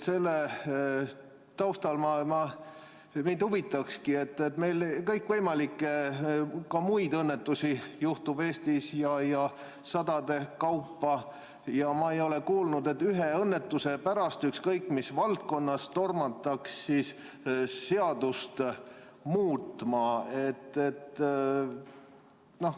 Selle taustal mind huvitab, et meil Eestis juhtub kõikvõimalikke muid õnnetusi sadade kaupa, aga ma ei ole kuulnud, et ühe õnnetuse pärast ükskõik mis valdkonnas tormatakse seadust muutma.